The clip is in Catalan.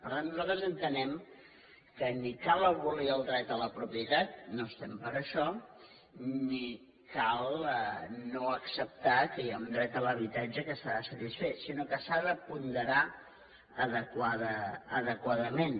per tant nosaltres entenem que ni cal abolir el dret a la propietat no estem per això ni cal no acceptar que hi ha un dret a l’habitatge que s’ha de satisfer sinó que s’ha de ponderar adequadament